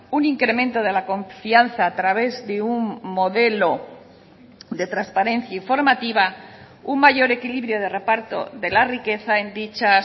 un incremento de la confianza a través de un modelo de transparencia informativa un mayor equilibrio de reparto de la riqueza en dicha